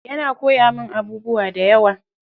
Yana koyawa min abubuwa dayawa.